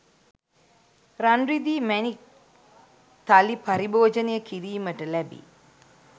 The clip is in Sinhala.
රන්, රිදී, මැණික් තලි පරිභෝජනය කිරීමට ලැබේ.